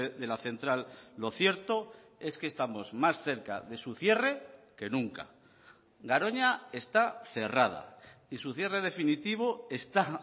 de la central lo cierto es que estamos más cerca de su cierre que nunca garoña está cerrada y su cierre definitivo está